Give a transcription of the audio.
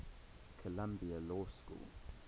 columbia law school